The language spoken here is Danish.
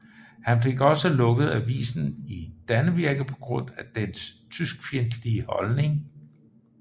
Han fik også lukket avisen Dannevirke på grund af dens tyskfjendtlige holdning